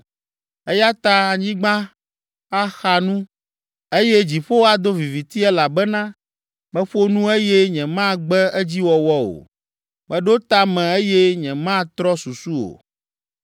Eya ta anyigba axa nu eye dziƒo ado viviti elabena meƒo nu eye nyemagbe edziwɔwɔ o. Meɖo ta me eye nyematrɔ susu o.”